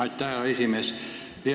Aitäh, hea esimees!